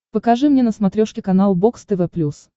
покажи мне на смотрешке канал бокс тв плюс